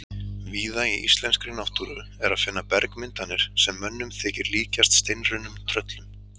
Víða í íslenskri náttúru er að finna bergmyndanir sem mönnum þykir líkjast steinrunnum tröllum.